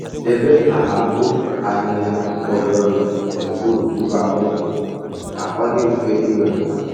Debe akpa mkpofu ahịhịa fọdụrụnụ n'okpuru ngwa mkpofu, ka ọ dị mfe ị wepụta